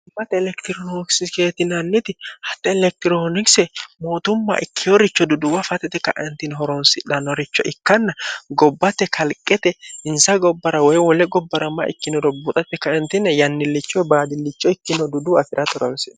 iate elektirookisikeetinnniti hatxe elektiroonikise mootumma ikkihoricho duduwa fatete kaentino horonsidhannoricho ikkanna gobbate kalqete insa gobbara woy wole gobbarammaa ikkinoro buxatte kaentine yannillichoe baadillicho ikkino duduu afirate horonsi'no